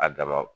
A dama